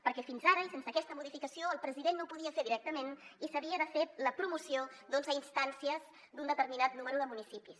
perquè fins ara i sense aquesta modificació el president no ho podia fer directament i s’havia de fer la promoció a instàncies d’un determinat nombre de municipis